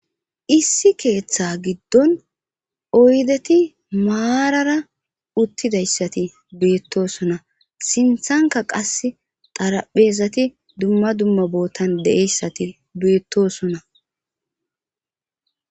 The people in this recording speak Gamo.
issi keeththa giddon oydeti maarara uttidayssati beettosona sinthanka qas xaraphezati dumma dumma bootan de'eyssati beettosona